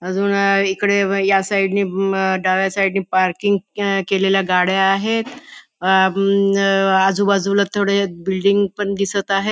अजून इकडे व या साइडने डाव्या साईडने पार्किंग अ केलेल्या गाड्या आहेत आजूबाजूला थोडे बिल्डिंग अ पण दिसत आहेत.